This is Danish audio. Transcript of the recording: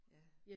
Ja